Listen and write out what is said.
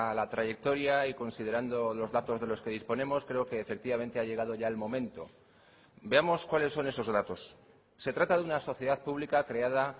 la trayectoria y considerando los datos de los que disponemos creo que efectivamente ha llegado ya el momento veamos cuáles son esos datos se trata de una sociedad pública creada